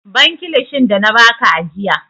Ban kilishin da na ba ka ajiya!